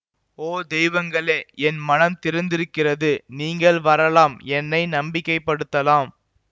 ஓ தெய்வங்களே என் மனம் திறந்திருக்கிறது நீங்கள் வரலாம் என்னை நம்பிக்கை படுத்தலாம்